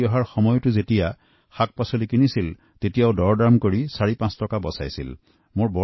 ঘুৰি অহাৰ সময়ত শাকপাছলি কিনাৰ সময়তো তেওঁ একেই কাম কৰিলে আৰু দৰদাম কৰি চাৰি পাঁচ টকা ৰাহি কৰিলে